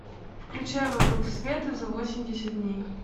включай вокруг света за восемьдесят дней